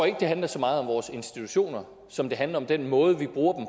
ikke det handler så meget om vores institutioner som det handler om den måde vi bruger